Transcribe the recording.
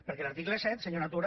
perquè l’article set senyora tura